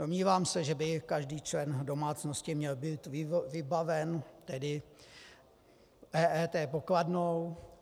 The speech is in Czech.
Domnívám se, že by každý člen domácnosti měl být vybaven tedy EET pokladnou.